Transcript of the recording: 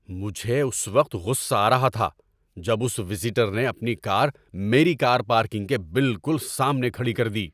مجھے اس وقت غصہ آ رہا تھا جب اس وزیٹر نے اپنی کار میری کار پارکنگ کے بالکل سامنے کھڑی کر دی۔